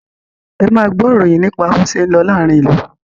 Ẹ máa gbọ́ ìròyìn nípa bó ṣé ń lọ láàárín ìlú!